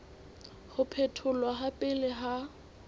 ho phetholwa ha pele ha